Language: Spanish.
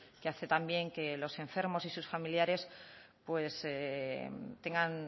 que hace también que los enfermos y sus familiares